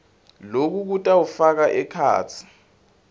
loku kutawufaka ekhatsi